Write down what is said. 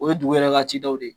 O ye dugu yɛrɛ ka cikɛw de ye